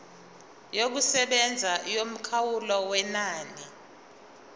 yokusebenza yomkhawulo wenani